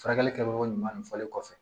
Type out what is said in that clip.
Furakɛli kɛcogo ɲuman fɔlen kɔfɛ